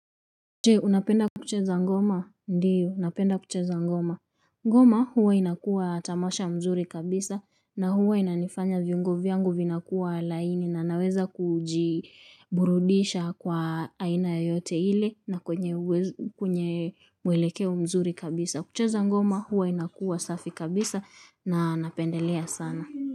Je, unapenda kucheza ngoma? Ndiyo, unapenda kucheza ngoma. Ngoma huwa inakuwa tamasha mzuri kabisa na huwa inanifanya viungo vyangu vinakuwa laini na naweza kujiburudisha kwa aina yoyote ile na kwenye kwenye mwelekeo mzuri kabisa. Kucheza ngoma huwa inakuwa safi kabisa na napendelea sana.